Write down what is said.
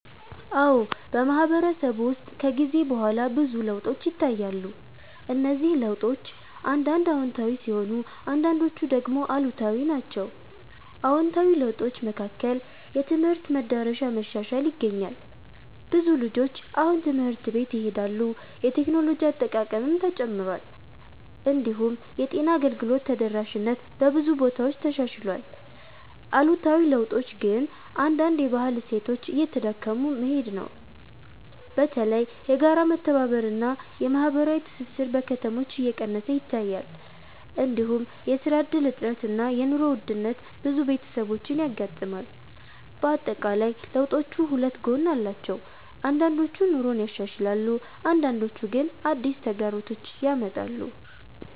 አዎ፣ በማህበረሰብ ውስጥ ከጊዜ በኋላ ብዙ ለውጦች ይታያሉ። እነዚህ ለውጦች አንዳንድ አዎንታዊ ሲሆኑ አንዳንዶቹ ደግሞ አሉታዊ ናቸው። አዎንታዊ ለውጦች መካከል የትምህርት መዳረሻ መሻሻል ይገኛል። ብዙ ልጆች አሁን ትምህርት ቤት ይሄዳሉ፣ የቴክኖሎጂ አጠቃቀምም ተጨምሯል። እንዲሁም የጤና አገልግሎት ተደራሽነት በብዙ ቦታዎች ተሻሽሏል። አሉታዊ ለውጦች ግን አንዳንድ የባህል እሴቶች እየተዳከሙ መሄድ ነው። በተለይ የጋራ መተባበር እና የማህበራዊ ትስስር በከተሞች እየቀነሰ ይታያል። እንዲሁም የስራ እድል እጥረት እና የኑሮ ውድነት ብዙ ቤተሰቦችን ያጋጥማል። በአጠቃላይ ለውጦቹ ሁለት ጎን አላቸው፤ አንዳንዶቹ ኑሮን ያሻሽላሉ አንዳንዶቹ ግን አዲስ ተግዳሮቶች ያመጣሉ።